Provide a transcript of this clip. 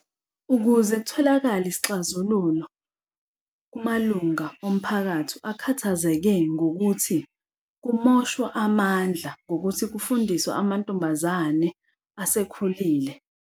Ukuze kutholakale isixazululo kumalunga omphakathi akhathazeke ngokuthi kumoshwa amandla ngokuthi kufundiswe amantombazane asekhulile.